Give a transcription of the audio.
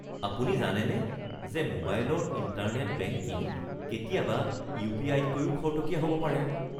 আপুনি জানেনে যে মোবাইলৰ ইণ্টাৰনেট বেংকিং কেতিয়াবা ইউ.পি.আই.তকৈও খৰতকীয়া হ'ব পাৰে?